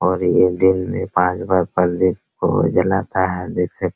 और ये दिन में पांच बार दीप को जलाता है देखिए।